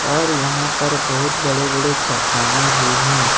और यहां पर बहुत बड़े-बड़े चट्टानें भी हैं।